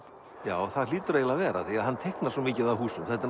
já það hlýtur eiginlega að vera því hann teiknar svo mikið af húsum og þetta